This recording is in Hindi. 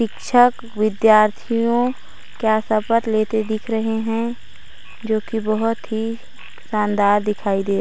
शिक्षक विद्यार्थियों क्या शपथ लेते दिख रहे हैं जो की बहुत ही शानदार दिखाई दे रहा--